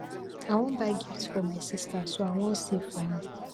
i wan buy gift for my sister so i wan save for am